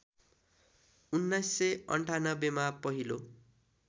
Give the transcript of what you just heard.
१९९८ मा पहिलो